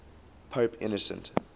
pope innocent